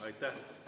Aitäh!